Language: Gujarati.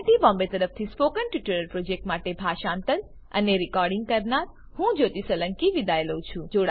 iit બોમ્બે તરફથી સ્પોકન ટ્યુટોરીયલ પ્રોજેક્ટ માટે ભાષાંતર કરનાર હું જ્યોતી સોલંકી વિદાય લઉં છું